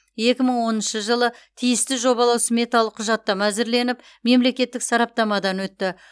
екі мың оныншы жылы тиісті жобалау сметалық құжаттама әзірленіп мемлекеттік сараптамадан өтті